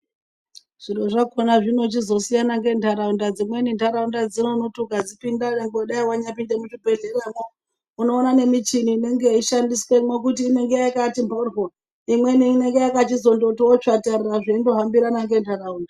Zviro zvakhona zvinochizosiyana ngentaraunda dzimweni ntaraunda dzino ukadzipinda nyangwe dai wanyapinde muchibhedhleramwo unoona nemichini inenge yeshandiswemwo kutiinenge yakati mhoryo imweni inenge yakati tsvatarara zveindohambirana nentaraunda.